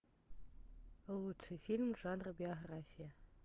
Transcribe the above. лучший фильм жанра биография